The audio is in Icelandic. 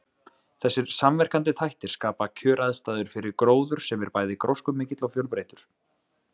Þessir samverkandi þættir skapa kjöraðstæður fyrir gróður sem er bæði gróskumikill og fjölbreyttur.